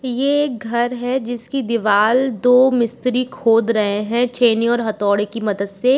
ये एक घर है। जिसकी दीवाल दो मिस्त्री खोद रहे हैं छैनी और हथोड़ै की मदद से।